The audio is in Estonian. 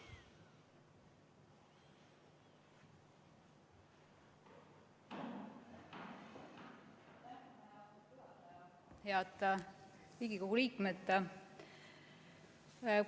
Head Riigikogu liikmed!